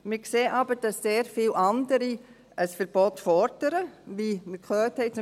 Wir sehen aber, dass sehr viele andere ein Verbot fordern, wie wir gehört haben.